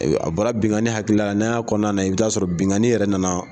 A bɔra binganni hakilila la n'an y'a kɔnɔna lajɛ, i bi taa sɔrɔ binganni yɛrɛ nana